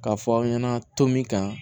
K'a fɔ aw ɲɛna to min kan